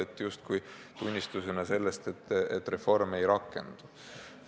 See oli justkui tunnistus, et reform ei rakendu.